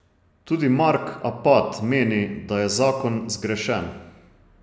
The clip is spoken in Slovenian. Tudi Mark Apat meni, da je zakon zgrešen.